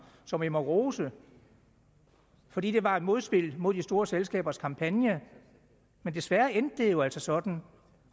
som jeg må rose for det det var et modspil mod de store selskabers kampagne men desværre endte det jo altså sådan